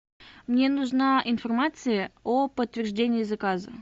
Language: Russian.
мне нужна информация о подтверждении заказа